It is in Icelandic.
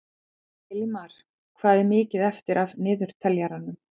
Elimar, hvað er mikið eftir af niðurteljaranum?